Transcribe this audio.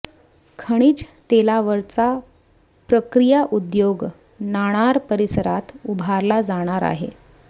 खनिज तेलावरचा प्रक्रिया उद्योग नाणार परिसरात उभारला जाणार आहे